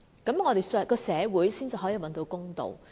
這樣我們的社會才可以找到公道。